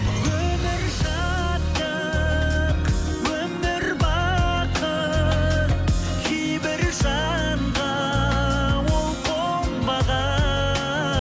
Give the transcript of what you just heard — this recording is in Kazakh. өмір шаттық өмір бақыт кейбір жанға ол